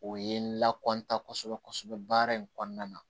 O ye n lakodɔn kosɛbɛ kosɛbɛ baara in kɔnɔna na